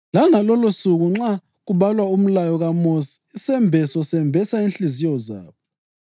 Langalolosuku nxa kubalwa umlayo kaMosi, isembeso sembesa inhliziyo zabo.